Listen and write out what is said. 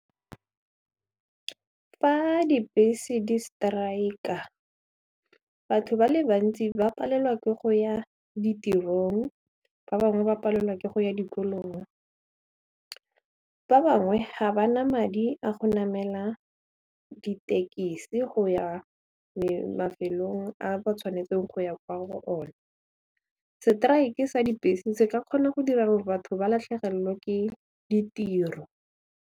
Fa dibese di strike-a batho ba le bantsi ba palelwa ke go ya ditirong ba bangwe ba palelwa ke go ya dikolong fa bangwe ga ba na madi a go namela ditekisi go ya mafelong a ba tshwanetseng go ya kwa go one. Strike sa dibese se ka kgona go dira gore batho ba latlhegelwe ke ditiro.